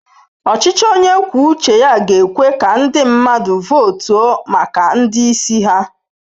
Ọchịchị onye kwuo uche ga-ekwe ka ndị mmadụ votu maka ndị isi ha.